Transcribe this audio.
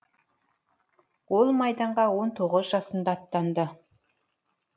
ол майданға он тоғыз жасында аттанды